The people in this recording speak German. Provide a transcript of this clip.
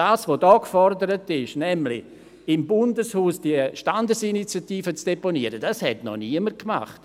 » Was hier gefordert ist, im Bundeshaus die Standesinitiative zu deponieren, hat noch niemand gemacht.